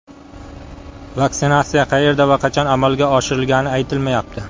Vaksinatsiya qayerda va qachon amalga oshirilgani aytilmayapti.